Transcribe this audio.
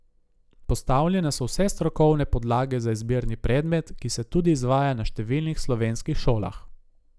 Postavljene so vse strokovne podlage za izbirni predmet, ki se tudi izvaja na številnih slovenskih šolah.